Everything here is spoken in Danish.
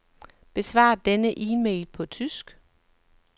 Besvar denne e-mail på tysk.